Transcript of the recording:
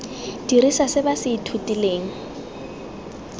dirisa se ba se ithutileng